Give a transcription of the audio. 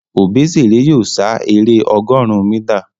Obesere yóò sá èrè ọgọrùn mítà.